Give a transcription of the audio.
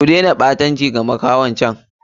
Ku dena ɓatanci da makahon can!